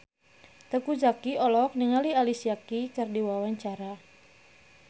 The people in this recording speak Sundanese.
Teuku Zacky olohok ningali Alicia Keys keur diwawancara